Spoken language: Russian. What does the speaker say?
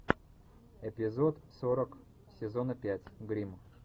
эпизод сорок сезона пять гримм